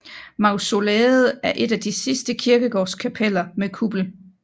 Mausoleet er et af de sidste kirkegårdskapeller med kuppel